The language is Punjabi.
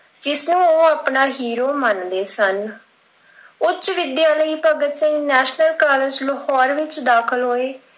ਇਸ ਨੂੰ ਉਹ ਆਪਣਾ hero ਮੰਨਦੇ ਸਨ। ਉੱਚ ਵਿੱਦਿਆ ਲਈ ਭਗਤ ਸਿੰਘ National College ਲਾਹੌਰ ਵਿੱਚ ਦਾਖਿਲ ਹੋਏ।